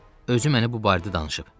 Özü məni bu barədə danışıb.